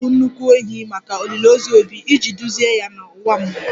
A ga-egbu nnukwu ehi maka olili ozu 'Obi' iji duzie ya n'ụwa mmụọ